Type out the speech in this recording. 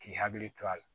K'i hakili to a la